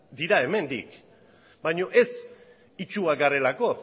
dira hemendik baino ez itsuak garelako